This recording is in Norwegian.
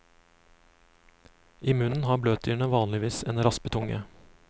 I munnen har bløtdyrene vanligvis en raspetunge.